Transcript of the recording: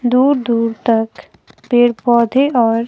दूर दूर तक पेड़ पौधे और--